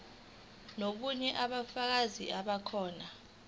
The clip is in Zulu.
nobunye ubufakazi bamakhono